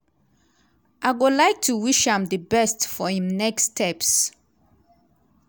i go like to wish am di best for im next steps.